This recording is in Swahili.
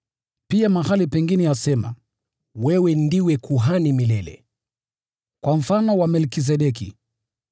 Pia mahali pengine asema, “Wewe ni kuhani milele, kwa mfano wa Melkizedeki.”